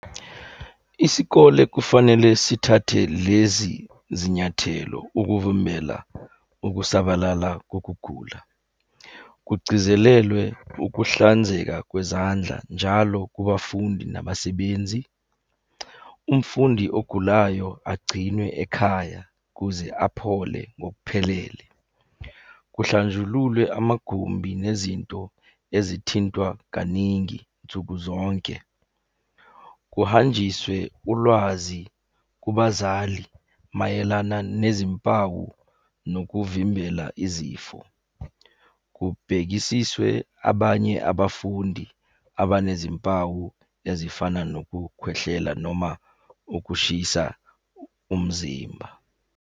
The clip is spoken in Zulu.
Isikole kufanele sithathe lezi zinyathelo ukuvimbela ukusabalala kokugula. Kugcizelelwe ukuhlanzeka kwezandla njalo kubafundi nabasebenzi. Umfundi ogulayo agcinwe ekhaya kuze aphole ngokuphelele. Kuhlanjululwe amagumbi nezinto ezithintwa kaningi nsuku zonke. Kuhanjiswe ulwazi kubazali mayelana nezimpawu nokuvimbela izifo. Kubhekisiswe abanye abafundi abanezimpawu ezifana nokukhwehlela noma ukushisa umzimba.